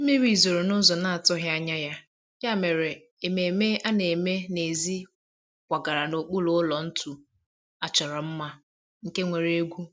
mmiri zoro n'ụzọ na-atughi anya ya, ya mere ememe a na-eme n'èzí kwagara n'okpuru ụlọ ntu a chọrọ mma, nke nwere egwu